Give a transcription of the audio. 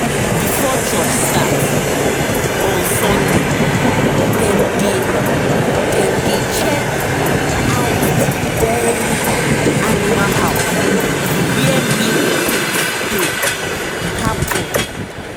before church start um on sunday dem dey dem dey check out d dairy animal house where milk tins dey um happen.